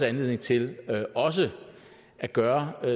anledning til også at gøre